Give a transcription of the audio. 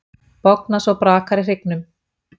Bogna svo brakar í hryggnum.